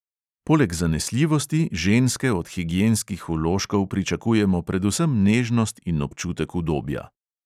Poleg zanesljivosti ženske od higienskih vložkov pričakujemo predvsem nežnost in občutek udobja.